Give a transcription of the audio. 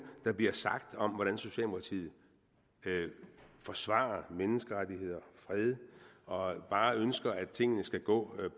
der bliver sagt om hvordan socialdemokratiet forsvarer menneskerettigheder og fred og bare ønsker at tingene skal gå